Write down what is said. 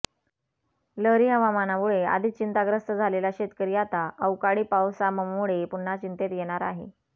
लहरी हवामानामुळे आधीच चिंताग्रस्त झालेला शेतकरी आता अवकाळी पावसाममुळे पुन्हा चिंतेत येणार आहे